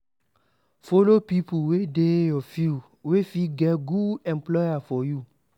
Follow pipo wey dey your field wey fit get good employer for you